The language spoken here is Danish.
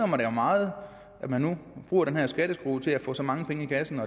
mig jo meget at man nu bruger den her skatteskrue til at få så mange penge i kassen